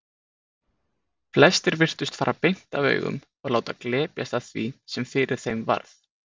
Flestir virtust fara beint af augum og láta glepjast af því sem fyrir þeim varð.